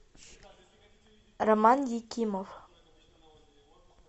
роман екимов